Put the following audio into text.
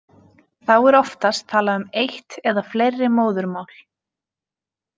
Þá er oftast talað um eitt eða fleiri móðurmál.